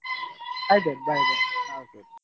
ಆಯ್ತ್ ಆಯ್ತ್ bye, bye .